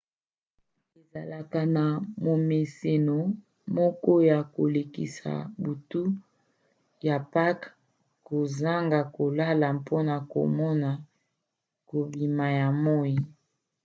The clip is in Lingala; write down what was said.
ezalaka na momeseno moko ya kolekisa butu ya pake kozanga kolala mpona komona kobima ya moi